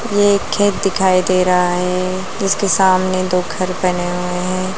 ये एक खेत दिखाई दे रहा है। इसके सामने दो घर बने हुए हैं।